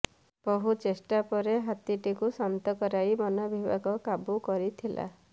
ବହୁ ଚେଷ୍ଟା ପରେ ହାତୀଟିକୁ ଶାନ୍ତ କରାଇ ବନବିଭାଗ କାବୁ କରିଥିଲା